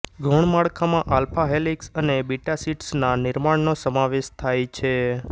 ગૌણ માળખામાં alpha helix અને બીટા શિટ્સના નિર્માણનો સમાવેશ થાય છે